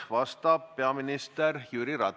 Ja ma siiralt arvan, et see tegelikult nii on.